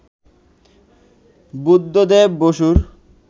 বুদ্ধদেব বসুর